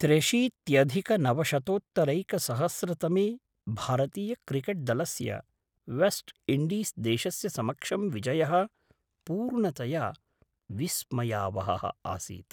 त्र्यशीत्यधिकनवशतोत्तरैकसहस्रतमे भारतीयक्रिकेट्दलस्य West Indies देशस्य समक्षं विजयः पूर्णतया विस्मयावहः आसीत्!